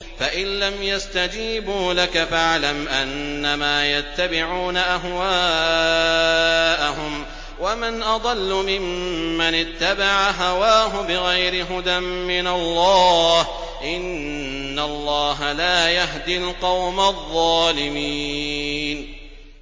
فَإِن لَّمْ يَسْتَجِيبُوا لَكَ فَاعْلَمْ أَنَّمَا يَتَّبِعُونَ أَهْوَاءَهُمْ ۚ وَمَنْ أَضَلُّ مِمَّنِ اتَّبَعَ هَوَاهُ بِغَيْرِ هُدًى مِّنَ اللَّهِ ۚ إِنَّ اللَّهَ لَا يَهْدِي الْقَوْمَ الظَّالِمِينَ